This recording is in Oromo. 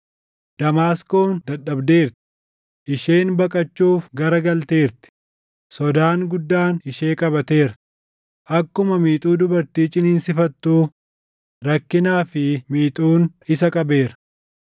Damaasqoon dadhabdeerti; isheen baqachuuf gara galteerti; sodaan guddaan ishee qabateera; akkuma miixuu dubartii ciniinsifattuu, rakkinaa fi miixuun isa qabeera.